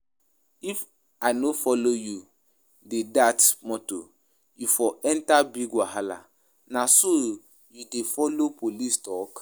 If I no follow you dey dat motor you for enter big wahala, na so you dey follow police talk?